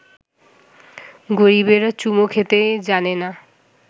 গরিবেরা চুমো খেতেই জানে না